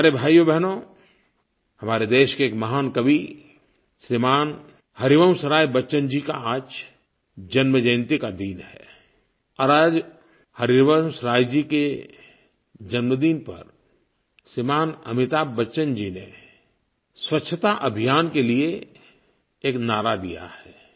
प्यारे भाइयोबहनो हमारे देश के एक महान कवि श्रीमान हरिवंशराय बच्चन जी का आज जन्मजयंती का दिन है और आज हरिवंशराय जी के जन्मदिन पर श्रीमान अमिताभ बच्चन जी ने स्वच्छता अभियान के लिये एक नारा दिया है